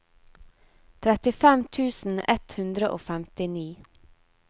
trettifem tusen ett hundre og femtini